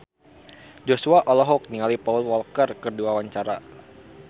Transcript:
Joshua olohok ningali Paul Walker keur diwawancara